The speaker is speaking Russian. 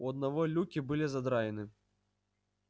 у одного люки были задраены